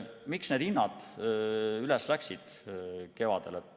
Miks need hinnad kevadel üles läksid?